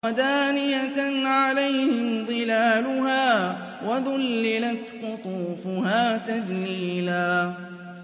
وَدَانِيَةً عَلَيْهِمْ ظِلَالُهَا وَذُلِّلَتْ قُطُوفُهَا تَذْلِيلًا